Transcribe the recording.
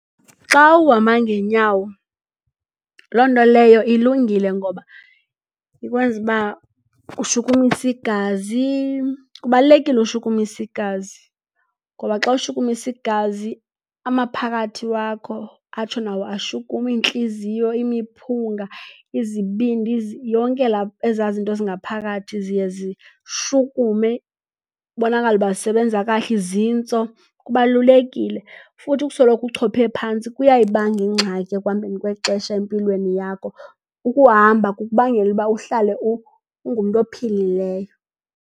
Xa uhamba ngeenyawo loo nto leyo ilungile ngoba ikwenza ukuba ushukumise igazi. Kubalulekile ukushukumisa igazi ngoba xa ushukumisa igazi amaphakathi wakho atsho nawo ashukume, iintliziyo, imiphunga, izibindi, yonke laa, ezaa zinto zingaphakathi ziye zishukume, kubonakale ukuba zisebenza kahle, izintso kubalulekile. Futhi ukusoloko uchophe phantsi kuyayibanga ingxaki ekuhambeni kwexesha empilweni yakho. Ukuhamba kukubangela ukuba uhlale ungumntu ophilileyo.